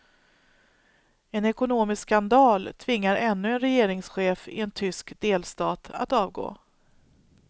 En ekonomisk skandal tvingar ännu en regeringschef i en tysk delstat att avgå.